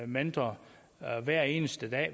mentor hver eneste dag